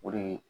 O de ye